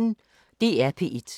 DR P1